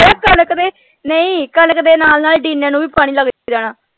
ਨਹੀਂ ਕਣਕ ਦੇ ਨਾਲ ਨਾਲ ਨੂੰ ਭੀ ਪਾਣੀ ਲੱਗ ਜਾਣਾ।